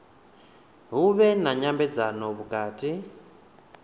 hu vhe na nyambedzano vhukati